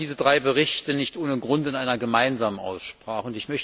Wir behandeln diese drei Berichte nicht ohne Grund in einer gemeinsamen Aussprache.